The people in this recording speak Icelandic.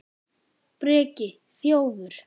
Breki: Þjófur?